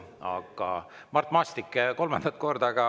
Aga Mart Maastik, kolmandat korda.